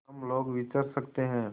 हम लोग विचर सकते हैं